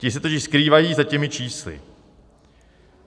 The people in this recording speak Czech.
Ti se totiž skrývají za těmi čísly.